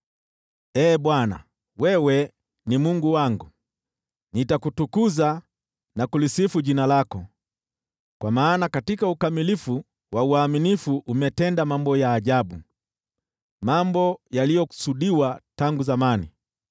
Ee Bwana , wewe ni Mungu wangu, nitakutukuza na kulisifu jina lako, kwa maana katika ukamilifu wa uaminifu umetenda mambo ya ajabu, mambo yaliyokusudiwa tangu zamani.